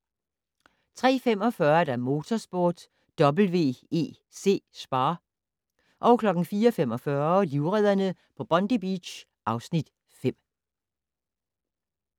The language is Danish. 03:45: Motorsport: WEC Spa 04:45: Livredderne på Bondi Beach (Afs. 5)